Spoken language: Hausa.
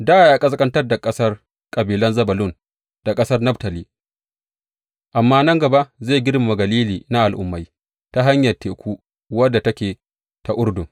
Dā ya ƙasƙantar da ƙasar kabilan Zebulun da ƙasar Naftali, amma nan gaba zai girmama Galili na Al’ummai, ta hanyar teku wadda take ta Urdun.